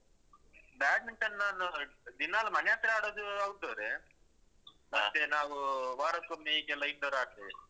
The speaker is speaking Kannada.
Badminton ನಾನು ದಿನಾಲು ಮನೆ ಹತ್ರ ಆಡುದು outdoor ಮತ್ತೆ ನಾವು ವಾರಕ್ಕೊಮ್ಮೆ ಹೀಗೆಲ್ಲ indoor ಆಡ್ತೇವೆ.